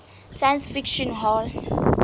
science fiction hall